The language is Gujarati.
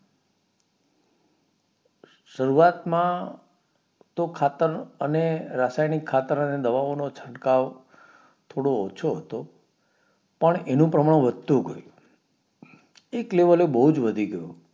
શરૂઆત માં તો ખાતર અને રાસાયણિક ખાતર અને દવાઓ નો છટકાવ થોડો ઓછો હતો પણ એનું પ્રમાણ વધતું ગયું એક level એ બોવજ વધી ગયું